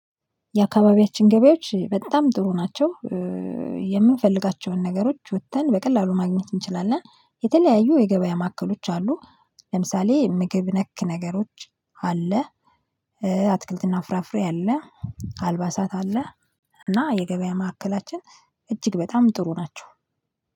የአካባቢያችን ገበያዎች በጣም ጥሩ ናቸው። የምንፈልጋቸውን ነገሮች ወጥተን በቀላሉ ማግኘት እንችላለን የተለያዩ የገበያ ማዕከሎች አሉ። ለምሳሌ ምግብ ነክ ነገሮች አለ አትክልትና ፍራፍሬ አለ አልባሳት አለ እና የገበያ ማዕከላችን እጅግ በጣም ጥሩ ናቸው።